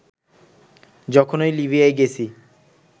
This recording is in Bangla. যখনই লিবিয়ায় গেছি